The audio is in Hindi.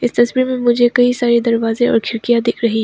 तस्वीर में मुझे कई सारे दरवाजे और खिड़कियां दिख रही--